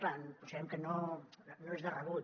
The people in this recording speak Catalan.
clar considerem que no és de rebut